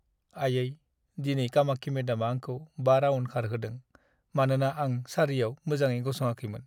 आयै, दिनै कामाक्षी मेदामा आंखौ 5 राउन्ड खारहोदों, मानोना आं सारियाव मोजाङै गसङाखैमोन।